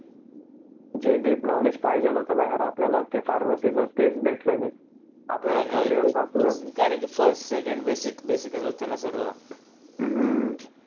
जे knowledge deep पाहिजेल होतं ना यार आपल्याला ते फार्मसी च तेच भेटलं नाही. आपल्याला कारण फस्ट सेकोंफ बेसिक बेसिक होतं ना सर्व हम्म